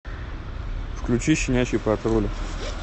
включи щенячий патруль